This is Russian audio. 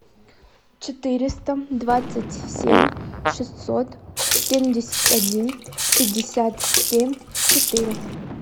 четыреста двадцать семь шестьсот семьдесят один пятьдесят семь четыре